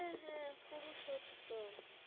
হ্যাঁ হ্যাঁ পুরুষোত্তম।